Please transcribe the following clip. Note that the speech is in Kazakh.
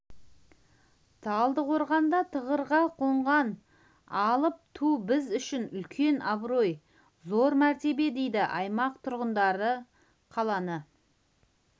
талдықорғанда тұғырға қонған алып ту біз үшін үлкен абырой зор мәртебе дейді аймақ тұрғындары қаланы